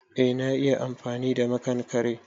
Eh na iya amfani da makankare.